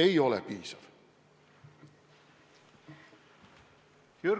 ei ole piisav!